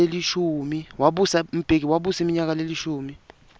mbeki wabusa iminyaka lelishumi